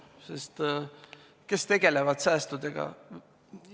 Sest kes tegelevad säästudega?